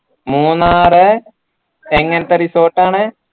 മൂന്നാറെ എങ്ങനത്ത resort ആണ്